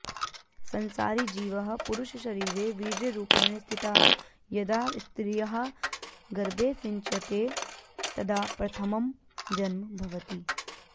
संसारी जीवः पुरुषशरीरे वीर्यरूपेण स्थितः यदा स्त्रियाः गर्भे सिञ्च्यते तदा प्रथमं जन्म भवति